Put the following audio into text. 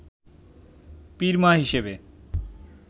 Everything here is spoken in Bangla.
পীর মা হিসেবে